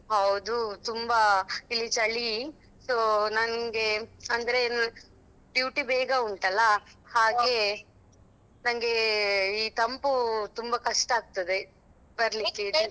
ಹೌದು ತುಂಬಾ ಇಲ್ಲಿ ಚಳಿ so ನಂಗೆ ಅಂದ್ರೆ duty ಬೇಗ ಉಂಟಲ್ಲಾ ಹಾಗೆ ನಂಗೆ ಈ ತಂಪು ಅಹ್ ತುಂಬಾ ಕಷ್ಟ ಆಗ್ತದೆ ಬರ್ಲಿಕ್ಕೆ